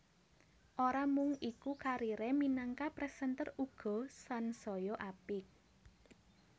Ora mung iku karire minangka presenter uga sansaya apik